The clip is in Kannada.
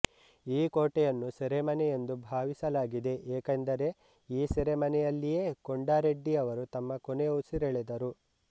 ಈ ಕೋಟೆಯನ್ನು ಸೆರೆಮನೆ ಎಂದು ಭಾವಿಸಲಾಗಿದೆ ಏಕೆಂದರೆ ಈ ಸೆರೆಮನೆಯಲ್ಲಿಯೇ ಕೊಂಡಾ ರೆಡ್ಡಿಯವರು ತಮ್ಮ ಕೊನೆ ಉಸಿರೆಳೆದರು